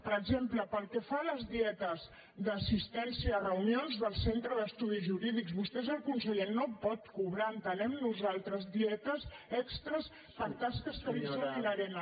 per exemple pel que fa a les dietes d’assistència a reunions del centre d’estudis jurídics vostè és el conseller no pot cobrar entenem nosaltres dietes extres per tasques que li són inhe·rents